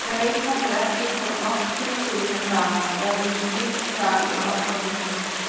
Veit heldur ekki hvort nokkru sinni framar verður slíkt hjal í okkar húsi.